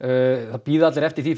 nú bíða allir eftir því